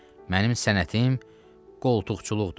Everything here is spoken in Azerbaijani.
Mənim sənətim qoltuqçuluqdur.